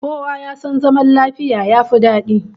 Kowa ya san zaman lafiya yafi dadi